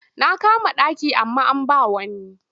Na kama ɗaki amma an ba wa wani.